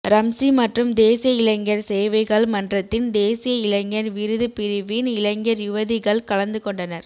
ரம்சி மற்றும் தேசிய இளைஞர் சேவைகள் மன்றத்தின் தேசிய இளைஞர் விருது பிரிவின் இளைஞர் யுவதிகள் கலந்துகொண்டனர்